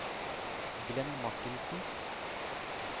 Glenn Martinsen